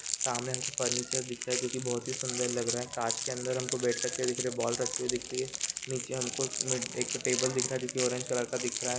सामने हमको फर्नीचर दिख रहा है जो की बहुत ही सुंदर लग रहा हैं कांच के अंदर हमको बेट करके दिख रहैं हैं बोल दिख रही हैं नीचे हमको एक टेबल दिख रहा हैं जो की ऑरेंज कलर का दिख रहा हैं।